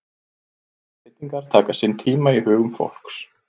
Allar breytingar taka sinn tíma í hugum fólks.